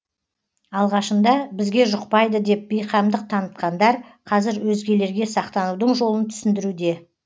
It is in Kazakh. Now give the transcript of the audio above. алғашында бізге жұқпайды деп бейқамдық танытқандар қазір өзгелерге сақтанудың жолын түсіндіруде